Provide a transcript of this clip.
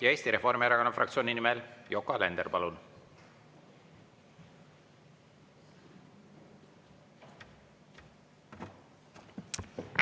Ja Eesti Reformierakonna fraktsiooni nimel Yoko Alender, palun!